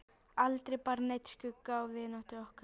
Aldrei bar neinn skugga á vináttu okkar.